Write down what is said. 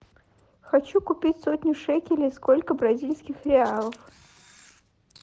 хочу купить сотню шекелей сколько бразильских реалов